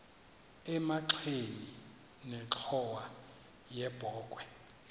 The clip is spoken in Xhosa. emagxeni nenxhowa yebokhwe